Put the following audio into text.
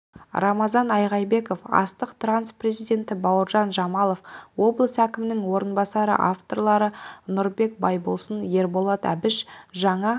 рамазан айғайбеков астық транс президенті бауыржан жамалов облыс әкімінің орынбасары авторлары нұрбек байбосын ерболат әбіш жаңа